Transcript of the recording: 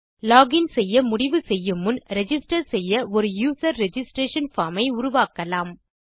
login செய்ய முடிவு செய்யும் முன் ரிஜிஸ்டர் செய்ய ஒரு யூசர் ரிஜிஸ்ட்ரேஷன் பார்ம் ஐ உருவாக்கலாம்